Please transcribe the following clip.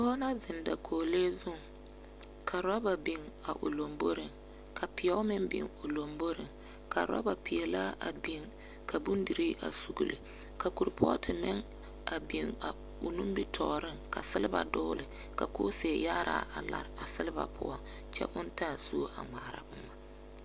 Pɔge la zeŋ dakoglee zuŋ. Ka rɔba biŋ a o lomboriŋ ka pɛo meŋ biŋ o lomboriŋ ka rɔba peɛlaa a biŋ ka bondirii a sugili, ka korepɔɔte meŋ a biŋ a o nimbitɔɔreŋ ka seleba dogele ka kooseeyaaraa a lare a selba poɔŋ kyɛ oŋ taa suo a ŋmaara boma.